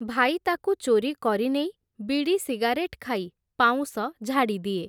ଭାଇ ତାକୁ ଚୋରିକରି ନେଇ, ବିଡ଼ି ସିଗାରେଟ୍ ଖାଇ, ପାଉଁଶ ଝାଡ଼ିଦିଏ ।